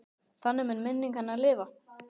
Þannig mun minning hennar lifa.